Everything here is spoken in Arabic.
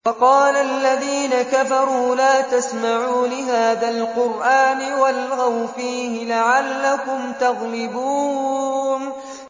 وَقَالَ الَّذِينَ كَفَرُوا لَا تَسْمَعُوا لِهَٰذَا الْقُرْآنِ وَالْغَوْا فِيهِ لَعَلَّكُمْ تَغْلِبُونَ